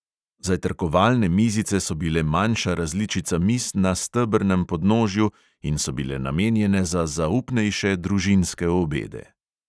Zajtrkovalne mizice so bile manjša različica miz na stebrnem podnožju in so bile namenjene za zaupnejše družinske obede.